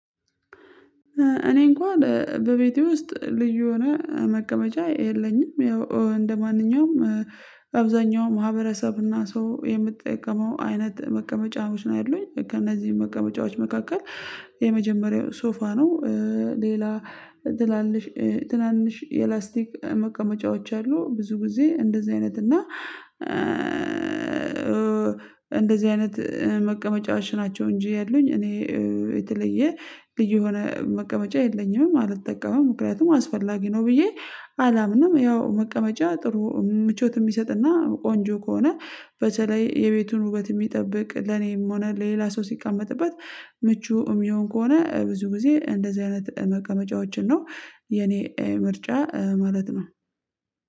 እኔ እንኳን በቤቴ ውስጥ ልዩ የሆነ መቀመጫ የለኝም ያው እንደማንኛውም አብዛኛው ማህበረሰብና ሰው የምትጠቀመው አይነት መቀመጫዎች ነው ያሉኝ ከእነዚህ በቃ መጫወች መካከል የመጀመሪያው ሶፋ ነው። ሌላ ትናንሽ ትናንሽ የላስቲክ መቀመጫዎች አሉ ብዙ ጊዜ እንደዚህ አይነት እና እንደዚህ አይነት መቀመጫው እሽ ናቸው እንጂ ያሉኝ እኔ የተለየ ልጅ የሆነ መቀመጫ የለኝም አልጠቀመም ምክንያቱም አስፈላጊ ነው ብዬ አላምንም ያው መቀመጫ ጥሩ ምቾት የሚሰጥና ቆንጆ ከሆነ በተለይ የቤቱን ውበት የሚጠብቅ ለኔም ሆነ ሌላ ሰው ሲቀመጥበት ምቹ የሚሆን ከሆነ ብዙ ጊዜ እንደዚህ አይነት መቀመጫዎችን ነው። የኔ ምርጫ ማለት ነው